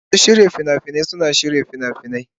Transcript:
Masu shirya fina-finai suna shirya fina-finai.